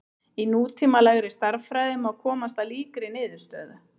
Í nútímalegri stærðfræði má komast að líkri niðurstöðu.